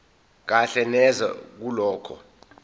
kahle neze kulokho